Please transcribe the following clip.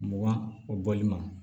Mugan o bɔli ma